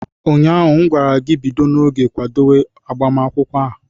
Ụnyaahụ m gwara gị, bido n'oge kwadewe agbamakwụkwọ a!